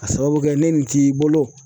Ka sababu kɛ ne nin t'i bolo